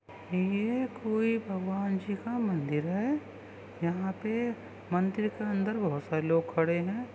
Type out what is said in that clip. ये कोई भगवान जी का मंदिर है। यहाँ पे मंदिर के अंदर बहोत सारे लोग खड़े है।